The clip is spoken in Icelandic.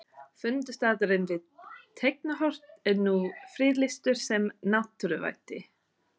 Fundarstaðurinn við Teigarhorn er nú friðlýstur sem náttúruvætti.